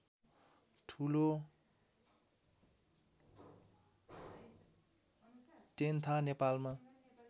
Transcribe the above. ठुलो टेन्था नेपालमा